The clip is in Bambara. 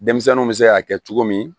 Denmisɛnninw bɛ se ka kɛ cogo min